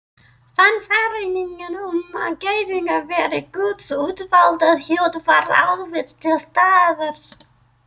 Sannfæringin um að Gyðingar væru Guðs útvalda þjóð var ávallt til staðar.